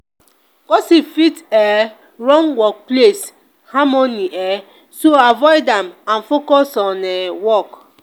gossip fit um ruin workplace harmony um so avoid am and and focus on um work.